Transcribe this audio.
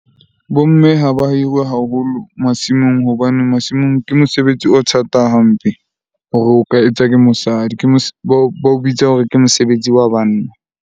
Bo mme ha ba hirwe haholo masimong hobane masimong ke mosebetsi o thata hampe hore o ka etswa ke mosadi. Ke bao bitsa hore ke mosebetsi wa banna.